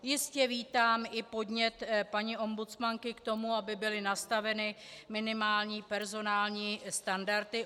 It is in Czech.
Jistě vítám i podnět paní ombudsmanky k tomu, aby byly nastaveny minimální personální standardy.